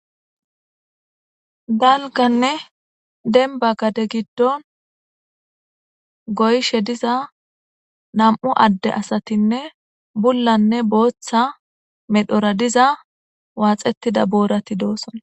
Galganne denba gade giddon goyshe diza nam'u adde asatinne bullanne booththa medhora diza waaxettida boorati dooson.